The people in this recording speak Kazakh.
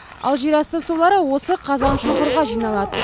ал жерасты сулары осы қазаншұңқырға жиналады